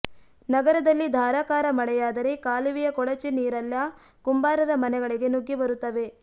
ನಗರದಲ್ಲಿ ಧಾರಾಕಾರ ಮಳೆಯಾದರೆ ಕಾಲುವೆಯ ಕೊಳಚೆ ನೀರೆಲ್ಲ ಕುಂಬಾರರ ಮನೆಗಳಿಗೆ ನುಗ್ಗಿ ಬರುತ್ತವೆ